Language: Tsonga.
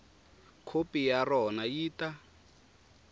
khopi ya rona yi ta